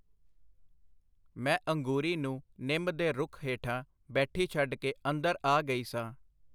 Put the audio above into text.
ਮੈਂ ਅੰਗੂਰੀ ਨੂੰ ਨਿੰਮ ਦੇ ਰੁੱਖ ਹੇਠਾਂ ਬੈਠੀ ਛੱਡ ਕੇ ਅੰਦਰ ਆ ਗਈ ਸਾਂ.